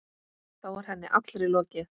Þá var henni allri lokið.